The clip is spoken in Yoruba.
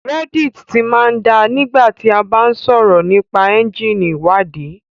Reddit ti máa ń da nígbà tí a bá ń sọ̀rọ̀ nípa ẹ́ńjíìnì ìwádìí